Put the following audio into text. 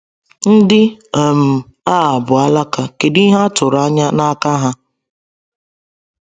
Ndị um a bụ “alaka,” kedu ihe a tụrụ anya n’aka ha?